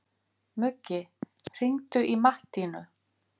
Muggi, hringdu í Mattínu.